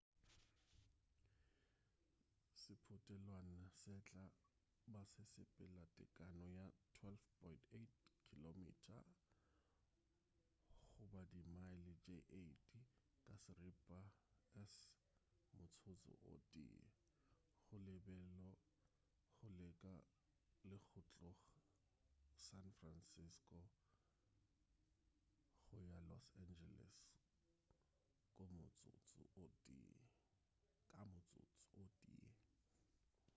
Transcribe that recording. sephutelwana se tla ba se sepela tekano ya 12.8 km goba di mile tše 8 ka seripa s motsotso o tee goo lebelo go leka le go tlog san francisco go ya los angeles ka motsotso o tee